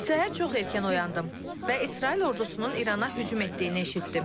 Səhər çox erkən oyandım və İsrail ordusunun İrana hücum etdiyini eşitdim.